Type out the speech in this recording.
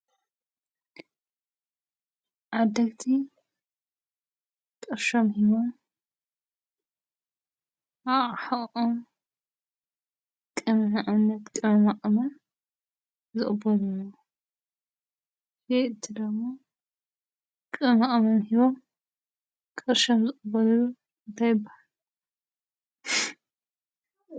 ዓደግቲ ቕርሸም ሕወም ኣሕኦም ቅምዓነት ቅምማእመ ዘእበልኒን ይ እትደሞ ቅማእመም ሕቦም ቕርሾም ዘቕበልሉ እንተይበል